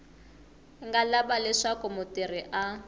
nga lava leswaku mutirhi a